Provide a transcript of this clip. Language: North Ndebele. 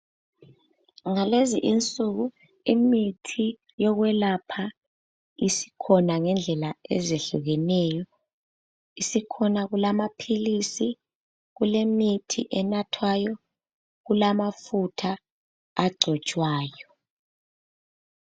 Ngalezi insuku imithi yokwelapha isikhona ngendlela ezehlukeneyo. Isikhona kulamaphilisi, kulemithi enathwayo, kulamafutha agcotshwayo.